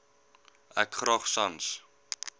ek graag sans